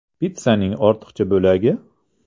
Pitssaning ortiqcha bo‘lagi?